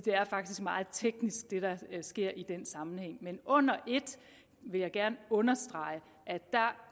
er faktisk meget teknisk hvad sker i den sammenhæng men under et vil jeg gerne understrege